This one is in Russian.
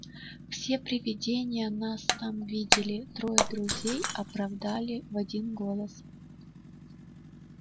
все привидения нас там видели трое друзей оправдывали в один голос